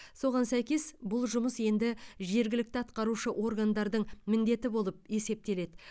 соған сәйкес бұл жұмыс енді жергілікті атқарушы органдардың міндеті болып есептеледі